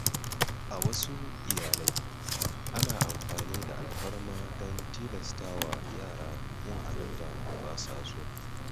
A wasu iyalai, ana amfani da alfarma don tilasta wa yara yin abin da ba su so.